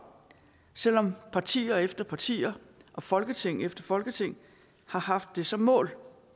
selv om partier efter partier og folketing efter folketing har haft det som mål